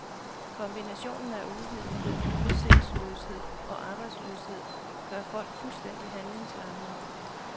Kombinationen af uvidenhed, udsigtsløshed og arbejdsløshed gør folk fuldstændig handlingslammede.